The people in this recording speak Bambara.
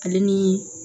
Ale ni